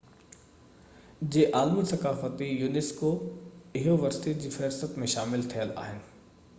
اهي unesco جي عالمي ثقافتي ورثي جي فهرست ۾ داخل ٿيل آهن